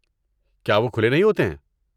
کیا وہ کھلے نہیں ہوتے ہیں؟